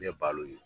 Ne ye balo ye